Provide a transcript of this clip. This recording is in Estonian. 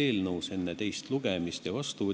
Oleks hea, kui enne teist lugemist ja otsuse